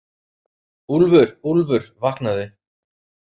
Úlfur, Úlfur vaknaðu.